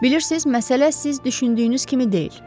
Bilirsiz, məsələ siz düşündüyünüz kimi deyil.